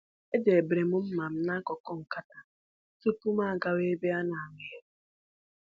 Edobere m mma m n'akụkụ nkata tupu m gawa ebe a na-agba egwu.